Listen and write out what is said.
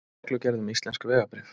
Reglugerð um íslensk vegabréf.